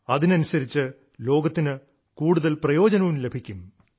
അതിനനുസരിച്ച് ലോകത്തിന് കൂടുതൽ പ്രയോജനവും ലഭിക്കും